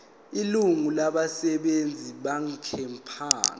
ilungu labasebenzi benkampani